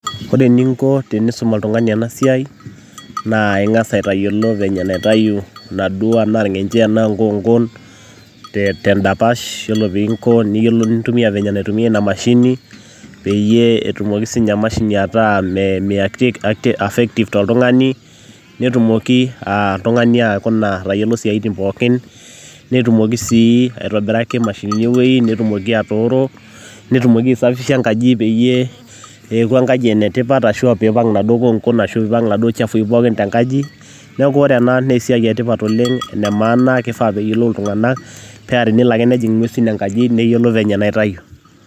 Ore eninko tenisum oltung'ani ena siai naa aing'as aitayiolo venye nitayu ina duo enaa irng'enche enaa inkoonkon tendapasha ore piinko enintumia ina mashini peyie etumoki sininye emashini ataa effective toltung'ani netumoki oltung'ani aikuna atayiolo isiaitin pookin, netumoki sii aitobiraki imashinini ewueji netumoki atooro, netumoki aisafisha enkaji peyie eeku enkaji ene tipat ashuu piipang' inaduo koonkon arashu piipang' iladuo chafui pookin te enkaji, neeku ore ena naa esiai etipat oleng' ene maana naa kifaa peeyiolou iltung'anak paa tenelo ake nejing' ng'eusin enkaji, neyiolo venye nitayu.